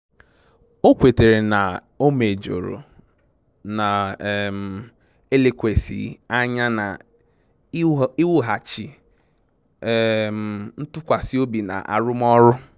O kwetara na o mejọrọ na um elekwasị anya na iwughachi um ntụkwasị obi na arụmọrụ